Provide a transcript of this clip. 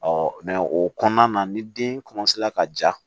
o kɔnɔna na ni den ka ja